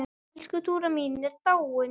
Elsku Dúra mín er dáin.